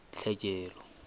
tlhekelo